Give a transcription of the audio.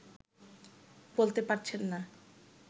বলতে পারছেন না